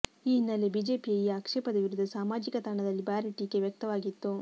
ಈ ಹಿನ್ನೆಲೆಯಲ್ಲಿ ಬಿಜೆಪಿಯ ಈ ಆಕ್ಷೇಪದ ವಿರುದ್ಧ ಸಾಮಾಜಿಕ ತಾಣದಲ್ಲಿ ಭಾರೀ ಟೀಕೆ ವ್ಯಕ್ತವಾಗಿತ್ತು